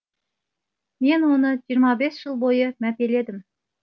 мен оны жиырма бес жыл бойы мәпеледім